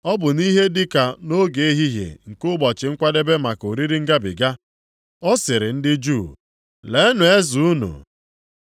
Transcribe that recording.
Ọ bụ nʼihe dịka nʼoge ehihie nke ụbọchị nkwadebe maka oriri Ngabiga. Ọ sịrị ndị Juu, “Leenụ eze unu!”